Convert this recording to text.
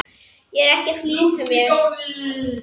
Ég er ekkert að flýta mér.